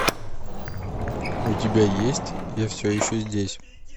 у тебя есть я все еще здесь